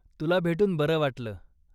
तुला भेटून बरं वाटलं.